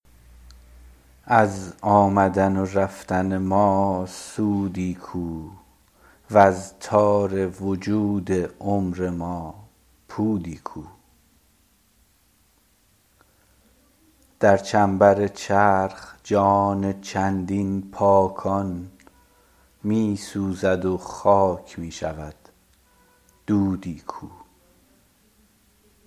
از آمدن و رفتن ما سودی کو وز تار وجود عمر ما پودی کو در چنبر چرخ جان چندین پاکان می سوزد و خاک می شود دودی کو